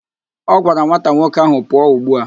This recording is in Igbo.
Ọ gwara nwata nwoke ahụ, pụọ ugbu a!